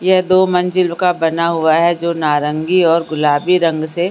यह दो मंजिल का बना हुआ है जो नारंगी और गुलाबी रंग से --